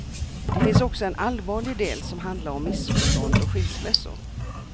Det finns också en allvarlig del som handlar om missförstånd och skilsmässor.